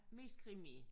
Mest krimi?